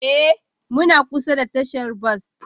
Ee, muna kusa da tashar bas